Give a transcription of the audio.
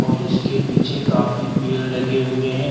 और इसके पीछे काफी पेड़ लगे हुए हैं।